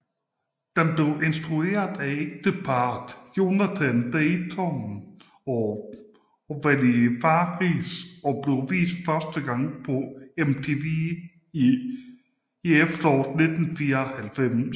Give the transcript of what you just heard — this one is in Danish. Den blev instrueret af ægteparret Jonathan Dayton og Valerie Faris og vist første gang på MTV i efteråret 1994